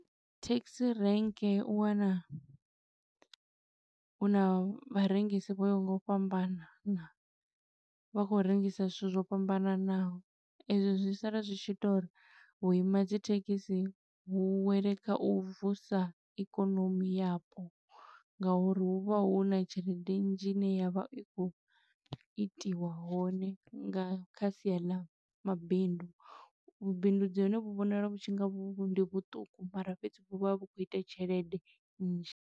Thekhisi rank u wana huna vharengisi vho yaho nga u fhambanana, vha khou rengisa zwithu zwo fhambananaho. E zwo zwi sala zwi tshi ita uri vhu ima dzi thekhisi vhu wele kha u vusa ikonomi yapo, nga uri huvha huna tshelede nnzhi ine ya vha i khou itiwa hone, nga kha sia ḽa mabindu. Vhubindudzi ha hone vhu vhonala vhu tshi nga vhu vhu ndi vhuṱuku mara fhedzi vhu vha vhu khou ita tshelede nnzhi.